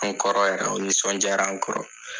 An kɔrɔ yɛrɛ o nisɔndiya an kɔrɔ